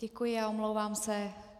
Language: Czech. Děkuji a omlouvám se.